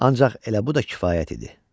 Ancaq elə bu da kifayət idi.